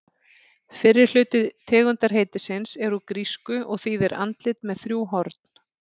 Fyrri hluti tegundarheitisins er úr grísku og þýðir andlit með þrjú horn.